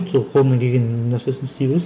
сол қолыңнан келген нәрсесін істей бересің